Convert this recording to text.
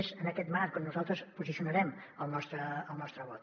és en aquest marc on nosaltres posicionarem el nostre vot